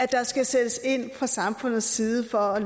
der skal sættes ind fra samfundets side for at